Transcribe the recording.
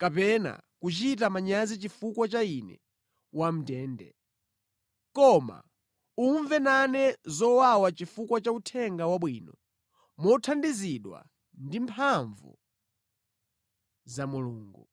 kapena kuchita manyazi chifukwa cha ine wamʼndende. Koma umve nane zowawa chifukwa cha Uthenga Wabwino, mothandizidwa ndi mphamvu za Mulungu.